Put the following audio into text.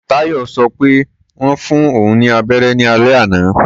Táyọ̀ sọ pé wọ́n fún òun ní abẹ́rẹ́ ní alẹ́ àná.